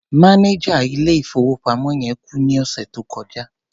Mánẹjà ilé-ìfowópamọ́ yẹn kú ní ọ̀sẹ̀ tó kọjá.